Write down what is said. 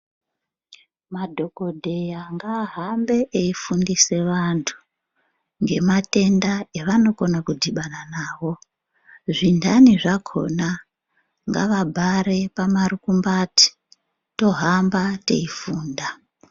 Madhokodheya ngaahambe eifundisa antu ngematenda evanokona kudhibana nawo. Zvinhani zvakhona ngavabhare pamarukumbati tohamba teifunda.